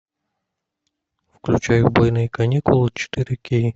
включай убойные каникулы четыре кей